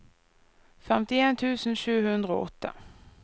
femtien tusen sju hundre og åtte